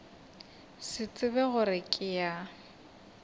se tsebe gore ke ya